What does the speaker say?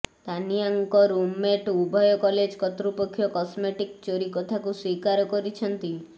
ତାନିଆଙ୍କ roommate ଉଭୟ college କର୍ତ୍ତୃପକ୍ଷ cosmetic ଚୋରି କଥାକୁ ସ୍ୱୀକାର କରିଛନ୍ତି